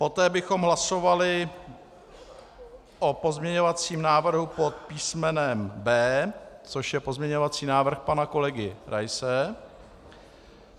Poté bychom hlasovali o pozměňovacím návrhu pod písmenem B, což je pozměňovací návrh pana kolegy Raise.